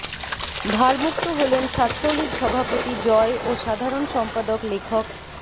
ভারমুক্ত হলেন ছাত্রলীগ সভাপতি জয় ও সাধারণ সম্পাদক লেখক